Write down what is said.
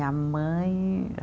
A mãe